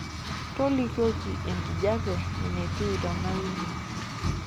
tolikioki enkijape enatiu tena wiki